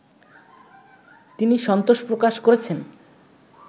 তিনি সন্তোষ প্রকাশ করেছেন